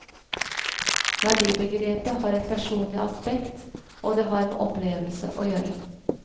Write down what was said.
Verdibegrepet har et personlig aspekt, og det har med opplevelse å gjøre.